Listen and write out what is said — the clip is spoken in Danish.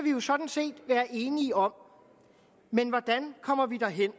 jo sådan set være enige om men hvordan kommer vi derhen